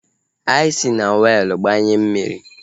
Anyị si na weelu gbanye mmiri